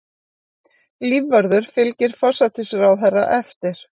Lífvörður fylgir forsætisráðherra eftir